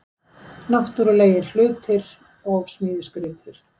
Náttúrulegir hlutir og smíðisgripir